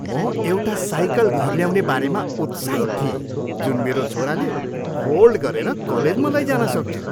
म एउटा साइकल घर ल्याउने बारेमा उत्साहित थिएँ जुन मेरो छोराले फोल्ड गरेर कलेजमा लैजान सक्थ्यो।